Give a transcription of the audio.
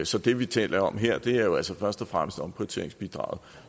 så det vi taler om her er jo altså først og fremmest omprioriteringsbidraget